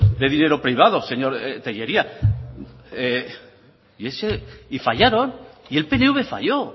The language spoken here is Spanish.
de dinero privado señor tellería y fallaron y el pnv falló